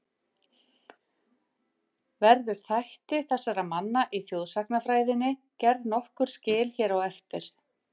Verður þætti þessara manna í þjóðsagnafræðinni gerð nokkur skil hér á eftir.